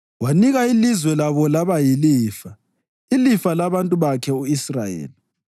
wanika ilizwe labo laba yilifa, ilifa labantu bakhe, u-Israyeli.